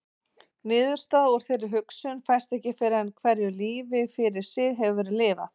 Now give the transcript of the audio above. Niðurstaða úr þeirri hugsun fæst ekki fyrr en hverju lífi fyrir sig hefur verið lifað.